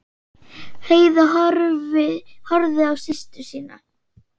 Heiða horfði á systur sína.